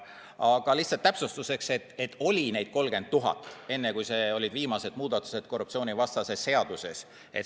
Aga lihtsalt täpsustuseks: neid oli 30 000 enne, kui tehti viimased muudatused korruptsioonivastases seaduses.